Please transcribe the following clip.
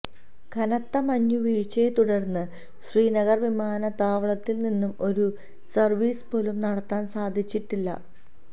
കനത്ത മഞ്ഞുവീഴ്ച്ചയെ തുടര്ന്ന് ശ്രീനഗര് വിമാനത്താവളത്തില് നിന്നും ഒരു സര്വീസ് പോലും നടത്താന് സാധിച്ചിട്ടില്ല